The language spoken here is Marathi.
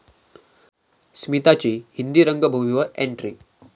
स्मिताची हिंदी रंगभूमीवर एंट्री